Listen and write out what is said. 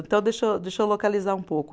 Então, deixa eu, deixa eu localizar um pouco.